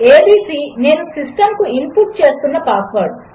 ABC నేనుసిస్టంకుఇన్పుట్చేస్తున్నపాస్వర్డ్